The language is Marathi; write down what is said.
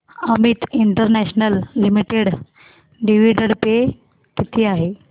Amit international limited dividend pay किती आहे